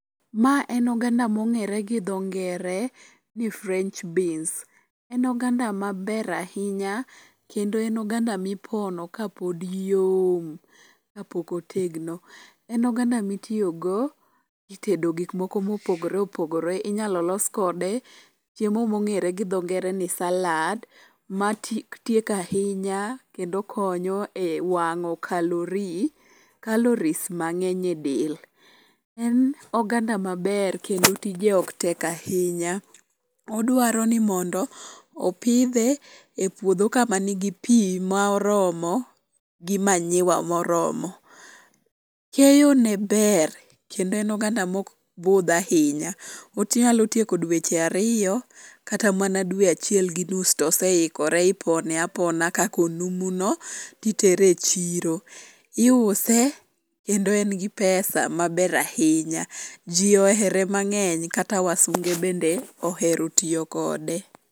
Mae en oganda mong'ere gi dho ngere ni french beans . En oganda maber ahinya kendo en oganda mipono ka pod yom, kapok otegno. En oganda mitiyogo e tedo gik moko mopogore opogore. Inyalo los kode chiemo mong'ere gi dho ngere ni salad matieko ahinya kendo konyo e wang'o kalori calories mang'eny e del .En oganda maber kendo tije ok tek ahinya. Odwaro ni mondo opidhe e puodho kama nigi pi ma oromo, gi manyiwa moromo. Keyone ber kendo en oganda mok budh ahinya . Onyalo tieko dweche ariyo kata mana dwe achiel gi nus tose ikore ,ipone apona ka konumuno, titere e chiro. Iuse kendo en gi [cs[]pesa maber ahinya. Ji ohere mang'eny kata wasunge bende ohero tiyo kode.